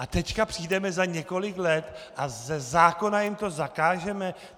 A teď přijdeme za několik let a ze zákona jim to zakážeme?